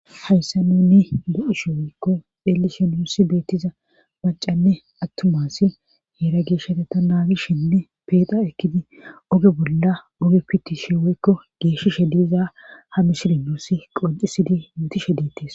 Hayssa nuni bo7ishe woykko xeelishe nuussi beettiza macanne attumasi heera geeshshate ta naagishinne peexa ekkidi oge bolla oge pitishe weykko geeshishe diiza ha mishili nuussi qocisidi mutishe deettis